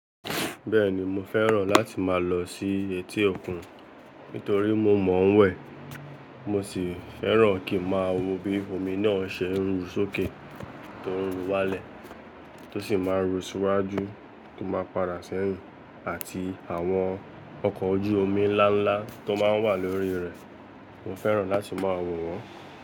Bẹ́ẹ̀ni mo fẹ́ràn láti máa lọ sí etí òkun nítorí mo mọ̀ wẹ̀. Mo sì fẹ́ràn kí máa wo bí omi náà ṣe ń ru sókè, tó ń ru wálẹ̀, tó sì máa ń ru síwájú, tó máa ń padà sẹ́yìn àti àwọn ọkọ̀ ojú omi ńlá ńlá tó máa ń wà lórí rẹ̀. Mo fẹ́ràn láti máa wo wọ́n.